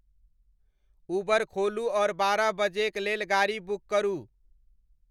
उबर खोलू और बारह बजेक लेल गाड़ी बुक करू